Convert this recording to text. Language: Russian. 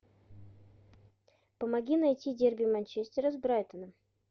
помоги найти дерби манчестера с брайтоном